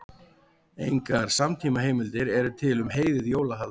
Engar samtímaheimildir eru til um heiðið jólahald.